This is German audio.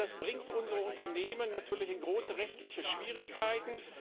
Das bringt unsere Unternehmen natürlich in große rechtliche Schwierigkeiten.